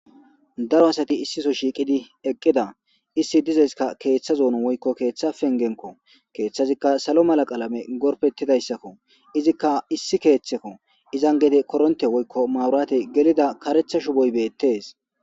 Daro asati issiso shiiqidi eqqida issi dizayskka keeththa zoono woykko keeththa pengenko keeththazikka salo mala qaalame gorpettidayssakko izikka issi keeththekko izan gede koronte woykko mawurate gelida karetha shuboy beettees